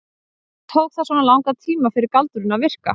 En hvers vegna tók það svona langan tíma fyrir galdurinn að virka?